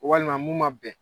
Walima mun ma bɛn.